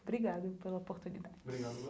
Obrigada pela oportunidade.